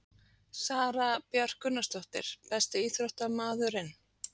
Sara Björk Gunnarsdóttir Besti íþróttafréttamaðurinn?